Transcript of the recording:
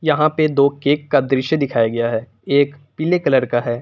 यहां पे दो केक का दृश्य दिखाया गया है एक पीले कलर का है।